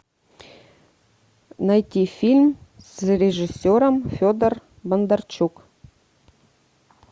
найти фильм с режиссером федор бондарчук